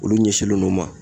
Olu ɲɛsinlen n'o ma